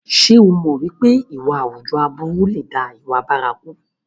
Ṣé o mọ̀ pé ìwà àwùjọ aburú lè dá ìwà bárakú?